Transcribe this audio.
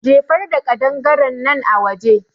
Jefar da ƙadangarennan a waje